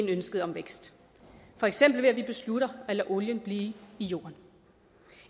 ønsket om vækst for eksempel ved at vi beslutter at lade olien blive i jorden